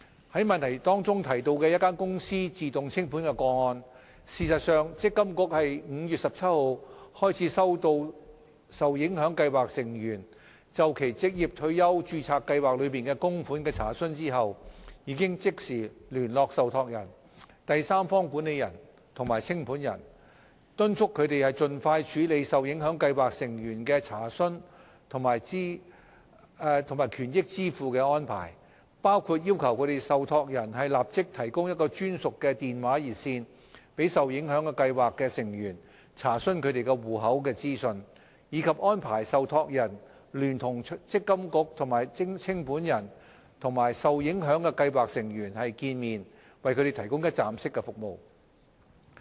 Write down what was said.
就質詢中提到的一間公司自動清盤個案，事實上，積金局自5月17日開始收到受影響計劃成員就其註冊計劃內的供款的查詢後，已即時聯絡受託人、第三方管理人及清盤人，敦促他們盡快處理受影響計劃成員的查詢及權益支付的安排，包括要求受託人立即提供專屬的電話熱線，讓受影響計劃成員查詢他們戶口的資訊，以及安排受託人聯同積金局和清盤人與受影響的計劃成員會面，為他們提供一站式服務。